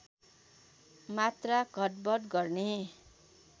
मात्रा घटबढ गर्ने